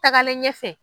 Tagalen ɲɛfɛ